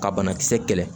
Ka banakisɛ kɛlɛ